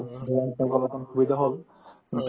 অকন সুবিধা হ'ল কিন্তু